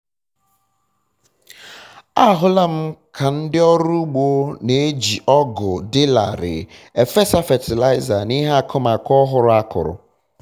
ahụla m ka ndị ọrụ ugbo na-eji ọgụ dị larịị efesa fatịlaịza n'ihe akụmakụ ọhụrụ a kụrụ